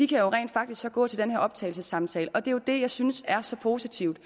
kan jo rent faktisk gå til den her optagelsessamtale og det er jo det jeg synes er så positivt